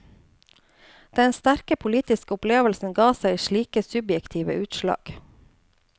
Den sterke politiske opplevelsen ga seg slike subjektive utslag.